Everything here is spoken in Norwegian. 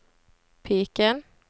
piken